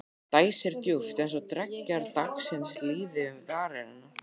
Dæsir djúpt- eins og dreggjar dagsins líði um varir hennar.